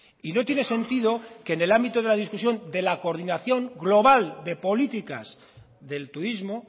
y no tiene sentido que en el ámbito de la discusión de la coordinación global de políticas del turismo